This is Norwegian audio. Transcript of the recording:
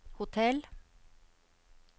hotell